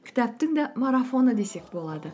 кітаптың да марафоны десек болады